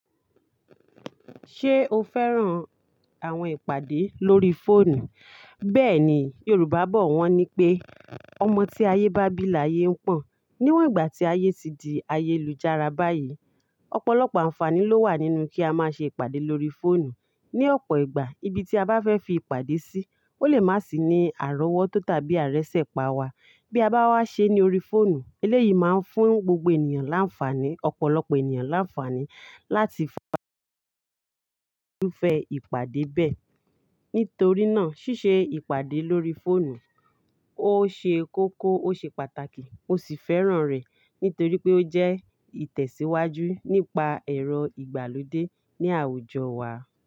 Ṣé o fẹ́ràn àwọn ìpàdé lórí fóònù? Bẹ́ẹ̀ni, Yorùbá bọ̀ wọ́n ní pé, "ọmọ tí ayé bá bí làyé ń pọ̀n." Níwọ̀n ìgbà tí ayé ti di ayélujára báyìí, ọ̀pọ̀lọpọ̀ ànfàní ló wà nínú kí a máa ṣe ìpàdé lórí fóònù. Ni ọ̀pọ̀ ìgbà, ibi tí a bá fẹ́ fi ìpàdé sí, ó lè má sì ní àrọ́wọ́tó tàbí àrẹsẹ̀ pa wa. Bí a bá wá ṣe ní orí fóònù, eléyìí máa ń fún gbogbo ènìyàn láǹfàní, ọ̀pọ̀lọpọ̀ ènìyàn láǹfàní láti irufẹ ìpàdé bẹ́ẹ̀. Nítorí náà, ṣíṣe ìpàdé lórí fóònù, ó ṣe kókó, ó ṣe pàtàkì mó sì fẹ́ràn rẹ̀. Nítorí pé ó jẹ́ ìtẹ̀síwájú nípa ẹ̀rọ ìgbàlódé ní àwùjọ wa.